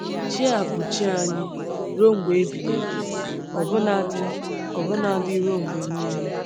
“Chi a bụ chi anyị ruo mgbe ebighị ebi, ọbụnadị ọbụnadị ruo mgbe niile.”